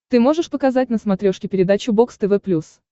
ты можешь показать на смотрешке передачу бокс тв плюс